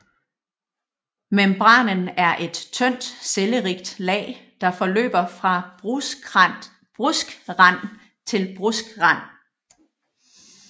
Membranen er et tyndt cellerigt lag der forløber fra bruskrand til bruskrand